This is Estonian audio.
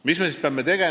Mis me siis peame tegema?